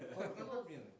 қорқады ол менен